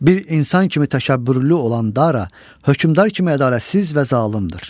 Bir insan kimi təşəkkürlü olan Dara, hökmdar kimi ədalətsiz və zalımdır.